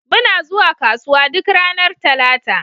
Muna zuwa kasuwa duk ranar Talata.